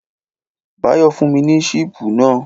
Báyọ̀ fún mi ní sípù náà.